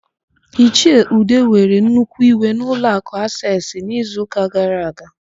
Ichie ide were nnukwu iwe n'ụlọakụ Aseesị n'izuụka gara aga.